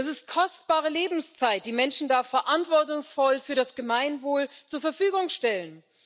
Das ist kostbare Lebenszeit, die Menschen da verantwortungsvoll für das Gemeinwohl zur Verfügung stellen.